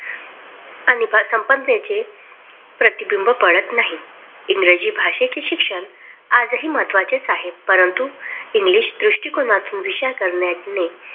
आणि प्रतिबिंब पडत नाही इंग्रजी भाषेचे शिक्षण आजही महत्त्वाचेच आहे. परंतु इंग्लिश दृष्टिकोनातून विचार करणे